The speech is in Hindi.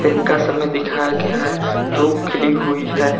इनका समय दिखाया गया है धूप खिली हुई है।